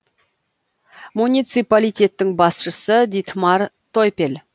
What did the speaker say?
муниципалитеттің басшысы дитмар тойпель